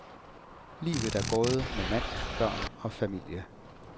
Livet er gået med mand, børn og familie.